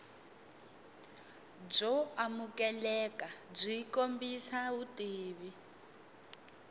byo amukeleka byi kombisa vutivi